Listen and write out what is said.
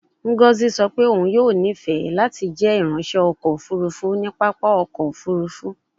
Ngozi sọ pe oun yoo nifẹ lati jẹ iranṣẹ ọkọ ofurufu ni papa ọkọ ofurufu